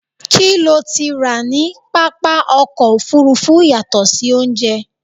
kí lo ti rà ní pápá ọkọ̀ òfurufú yàtọ̀ sí oúnjẹ?